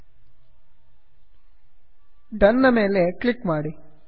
done done ನ ಮೇಲೆ ಕ್ಲಿಕ್ ಮಾಡಿ